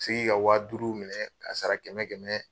U bi se k'i ka wa duuru minɛ k'a sara kɛmɛ kɛmɛ.